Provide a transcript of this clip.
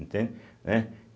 Entende? Né?